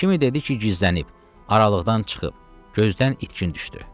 Kimi dedi ki, gizlənib, aralıqdan çıxıb, gözdən itkin düşdü.